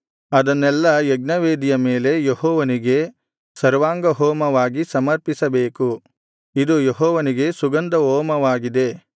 ಅದನ್ನೆಲ್ಲಾ ಯಜ್ಞವೇದಿಯ ಮೇಲೆ ಯೆಹೋವನಿಗೆ ಸರ್ವಾಂಗಹೋಮವಾಗಿ ಸಮರ್ಪಿಸಬೇಕು ಇದು ಯೆಹೋವನಿಗೆ ಸುಗಂಧಹೋಮವಾಗಿದೆ